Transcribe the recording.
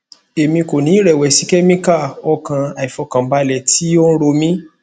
emi ko ni irẹwẹsi chemical o kan aifọkanbalẹ ti o ro mi